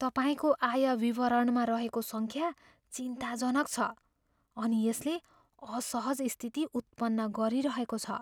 तपाईँको आय विवरणमा रहेको सङ्ख्या चिन्ताजनक छ, अनि यसले असहज स्थिति उत्पन्न गरिरहेको छ।